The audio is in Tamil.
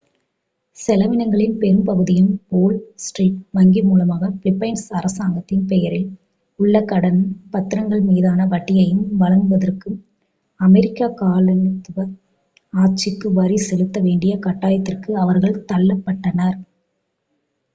செலவினங்களின் பெரும் பகுதியையும் வோல் ஸ்ட்ரீட் வங்கி மூலமாக பிலிப்பைன்ஸ் அரசாங்கத்தின் பெயரில் உள்ள கடன் பத்திரங்களின் மீதான வட்டியையும் வழங்குவதற்கும் அமெரிக்க காலனித்துவ ஆட்சிக்கு வரி செலுத்த வேண்டிய கட்டாயத்திற்கு அவர்கள் தள்ளப்பட்டனர்